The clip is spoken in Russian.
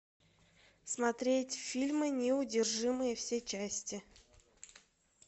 смотреть фильмы неудержимые все части